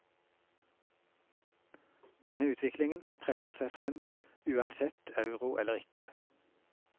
Denne utviklingen presser seg frem uansett euro eller ikke.